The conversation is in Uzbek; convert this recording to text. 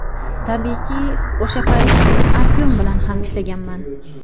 Tabiiyki, o‘sha payt Artyom bilan ham ishlaganman.